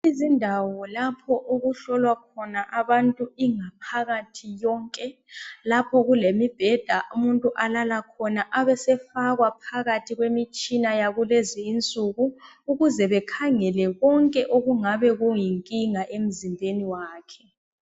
Izindawo lapho okuhlolwa khona abantu ingaphakathi yonke, lapho kulemibheda umuntu alala khona abesefakwa phakathi kwemitshina yakulezi insuku, ukuze bekhangele konke okungabe kuyinkinga emzimbeni wakhe.